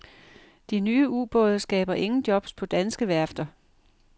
De nye ubåde skaber ingen jobs på danske værfter.